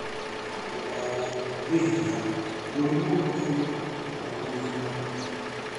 Ndũkowo nĩ hinya, mũrimũ ũcio ndũgũkũnina